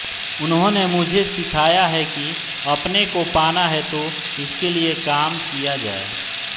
उन्होंने मुझे सिखाया है कि अपने को पाना है तो इसके लिए काम किया जाय